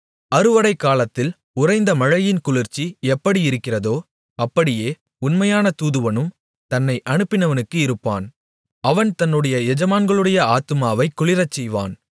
அறுவடைக்காலத்தில் உறைந்தமழையின் குளிர்ச்சி எப்படியிருக்கிறதோ அப்படியே உண்மையான தூதுவனும் தன்னை அனுப்பினவனுக்கு இருப்பான் அவன் தன்னுடைய எஜமான்களுடைய ஆத்துமாவைக் குளிரச்செய்வான்